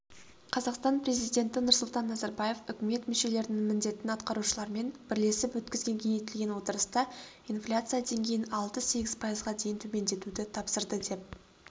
қазақстан президенті нұрсұлтан назарбаев үкімет мүшелерінің міндетін атқарушылармен бірлесіп өткізген кеңейтілген отырыста инфляция деңгейін алты-сегіз пайызға дейін төмендетуді тапсырды деп